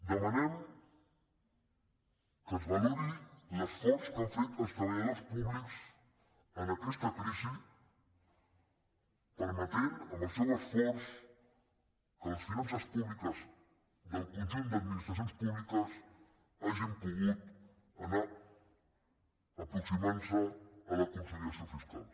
demanem que es valori l’esforç que han fet els treba·lladors públics en aquesta crisi permetent amb el seu esforç que les finances públiques del conjunt d’admi·nistracions públiques hagin pogut anar aproximant·se a la consolidació fiscal